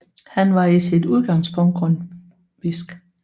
Han var i sit udgangspunkt grundtvigsk